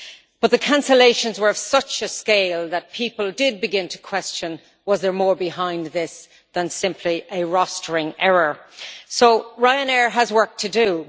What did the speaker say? But the cancellations were of such a scale that people did begin to question whether there was more behind this than simply a rostering error. So Ryanair has work to do.